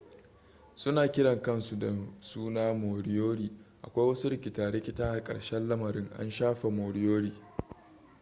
suna kiran kansu da suna moriori akwai wasu rikita-rikita a karshen lamarin an shafe moriori